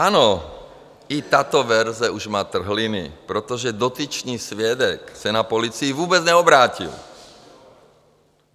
Ano, i tato verze už má trhliny, protože dotyčný svědek se na policii vůbec neobrátil.